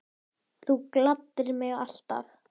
Þú gladdir mig alltaf.